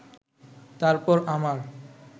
তারপর আমার